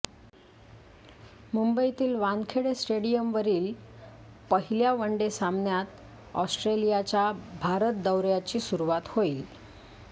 मुंबईतील वानखेडे स्टेडियमवरील पहिल्या वनडे सामन्यात ऑस्ट्रेलियाच्या भारत दौर्याची सुरूवात होईल